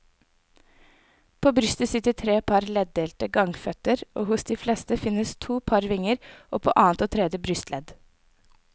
På brystet sitter tre par leddelte gangføtter og hos de fleste finnes to par vinger, på annet og tredje brystledd.